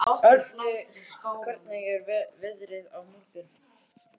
Árni, hvernig er veðrið á morgun?